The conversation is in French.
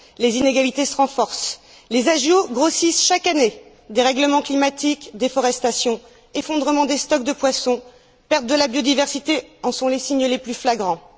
Les inégalités se renforcent, les agios grossissent chaque année dérèglements climatiques, déforestations, effondrement des stocks de poissons, perte de la biodiversité en sont les signes les plus flagrants.